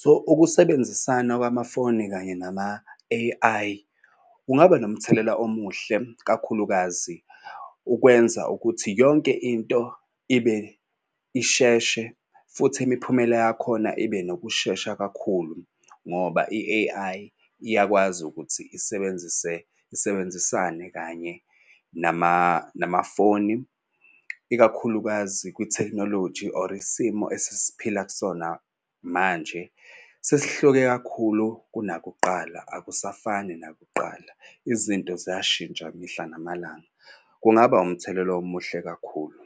so ukusebenzisana kwamafoni kanye nama-A_I kungaba nomthelela omuhle kakhulukazi ukwenza ukuthi yonke into ibe isheshe. Futhi imiphumela yakhona ibe nokushesha kakhulu ngoba i-A_I iyakwazi ukuthi isebenzise isebenzisane kanye namafoni. Ikakhulukazi kwithekhnoloji or isimo esesiphila kusona manje sesihlukene kakhulu kunakuqala akusafani nakuqala. Izinto ziyashintsha mihla namalanga. Kungaba umthelela omuhle kakhulu.